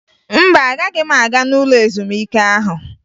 Mba, agaghị m aga n'ụlọ ezumike ahụ